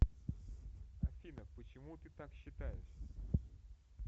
афина почему ты так считаешь